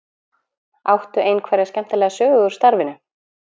Áttu einhverja skemmtilega sögu úr starfinu?